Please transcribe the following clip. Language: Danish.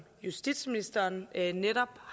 justitsministeren netop